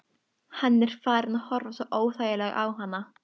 Hann er farinn að horfa svo óþægilega á hana.